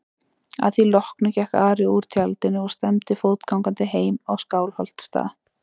Að því loknu gekk Ari úr tjaldinu og stefndi fótgangandi heim á Skálholtsstað.